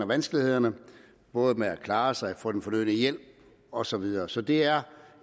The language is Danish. vanskelighederne både med at klare sig og få den fornødne hjælp og så videre så det er